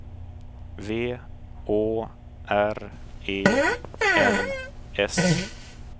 V Å R E N S